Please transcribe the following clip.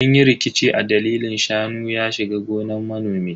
Sun yi rikici a dalilin shanu ya shiga gonan manomi.